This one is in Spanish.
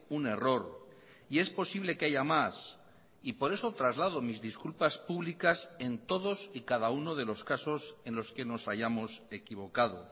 un error y es posible que haya más y por eso traslado mis disculpas públicas en todos y cada uno de los casos en los que nos hayamos equivocado